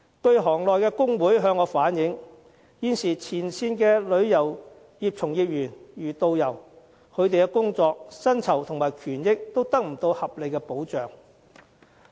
據行內工會向我反映，現時前線旅遊業從業員，其工作、薪酬和權益都得不到合理保障。